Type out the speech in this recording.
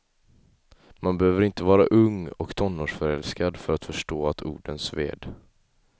Man behöver inte var ung och tonårsförälskad för att förstå att orden sved.